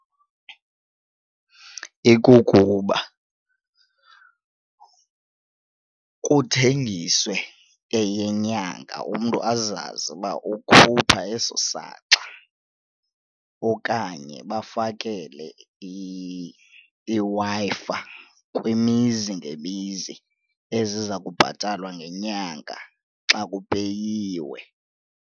Ikukuba kuthengiswe eyenyanga umntu azazi uba ukhupha eso saxa okanye bafakele iWi-Fi kwimizi ngemizi eziza kubhatalwa ngenyanga xa kupeyiwe.